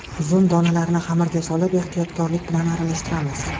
Uzum donalarini xamirga solib, ehtiyotkorlik bilan aralashtiramiz.